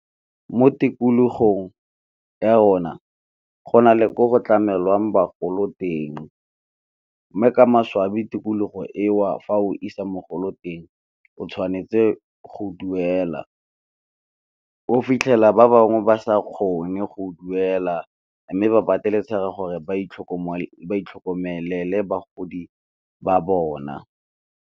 Mo tikologong ya rona go na le ko go tlamelwang bagolo teng, mme ka maswabi tikologo eo fa o isa mogolo teng o tshwanetse go duela. O fitlhela ba bangwe ba sa kgone go duela, mme ba pateletsega gore ba itlhokomelele bagodi ba bona.